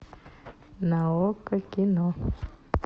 на окко кино